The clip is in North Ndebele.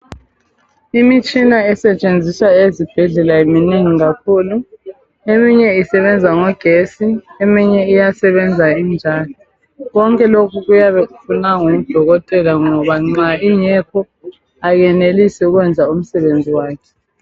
Imitshina esetshenziswa ezibhedlela minengi kakhulu. Eminye isebenza ngamagetsi, eminye iyasebenza injalo. Konke lokhu kuyabe kufuneka ngodokotela ngoba nxa kungekho abenelisi ukwenza umsebenzi wabo.